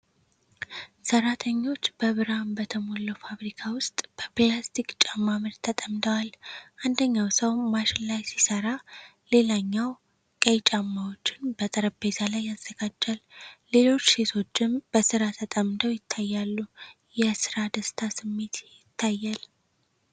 ሠራተኞች በብርሃን በተሞላው ፋብሪካ ውስጥ በፕላስቲክ ጫማ ምርት ተጠምደዋል። አንደኛው ሰው ማሽን ላይ ሲሠራ፣ ሌላኛው ቀይ ጫማዎችን በጠረጴዛ ላይ ያዘጋጃል። ሌሎች ሴቶችም በሥራ ተጠምደው ይታያሉ፤ የሥራ ደስታ ስሜት ይታያል።